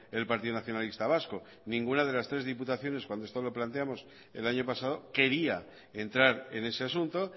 el partido nacionalista vasco ninguna de las tres diputaciones cuando esto lo planteamos el año pasado quería entrar en ese asunto